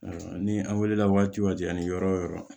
Ni an wulila waati jan ni yɔrɔ yɔrɔ